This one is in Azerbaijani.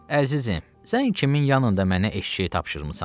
Əzizim, sən kimin yanında mənə eşşək tapşırmısan?